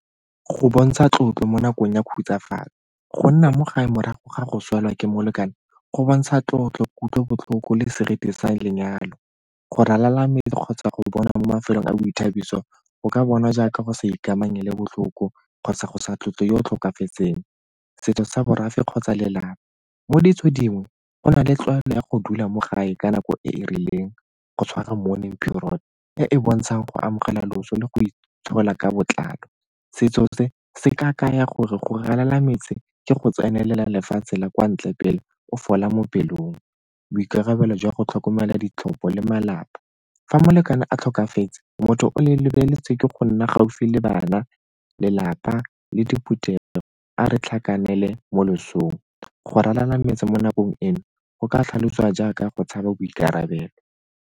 Go bontsha tlotlo mo nakong ya khutsafalo, go nna mo gae morago ga go swelwa ke molekane go bontsha tlotlo, kutlobotlhoko le seriti sa lenyalo. Go ralala mme kgotsa go bona mo mafelong a boithabiso go ka bonwa jaaka go sa ikamanye le botlhoko kgotsa go sa tlotlo yo o tlhokafetseng. Setso sa borafe kgotsa lelapa, mo ditso dingwe go nale tlwaelo ya go dula mo gae ka nako e e rileng go tshwara mourning period e e bontshang go amogela loso le go ka botlalo. Setso se se ka kaya gore go ralala metse ke go tsenelela lefatshe la kwa ntle pele o fola mo pelong boikarabelo jwa go tlhokomela ditlhopho le malapa. Fa molekane a tlhokafetse motho o le lebeletse ke go nna gaufi le bana lelapa le diphutela a re tlhakane pele mo losong go ralala metse mo nakong eno go ka tlhalosiwa jaaka go tshabe boikarabelo.